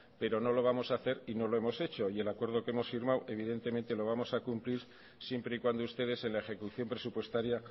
pero no lo vamos a hacer y no lo hemos hecho y el acuerdo que hemos firmado evidentemente lo vamos a cumplir siempre y cuando ustedes en la ejecución presupuestaria